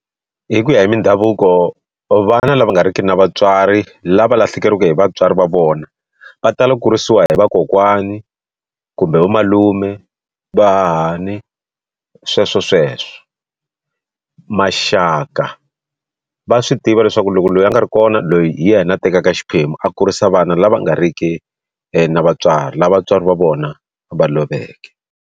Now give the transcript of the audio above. Hi ku ya hi mindhavuko vana lava nga riki na vatswari lava lahlekeriwe hi vatswari va vona va tala kurisiwa hi vakokwani kumbe vo malume va hahani sweswo sweswo maxaka va swi tiva leswaku loko loyi a nga ri kona loyi hi yena a tekaka xiphemu a kurisa vana lava nga riki na vatswari lava vatswari va vona va loveke.